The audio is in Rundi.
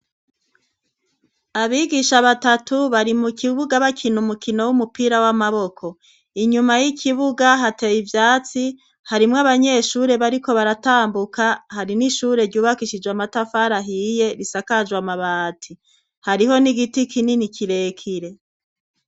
Abigisha batatu bari mu kibuga bakina umukino w'umupira w'amaboko, inyuma y'ikibuga hateye ivyatsi harimwo abanyeshure bariko baratambuka hari n'ishure ryubakishijwe amatafarahiye bisakajwe amabati, hariho n'igiti kinini kirekire.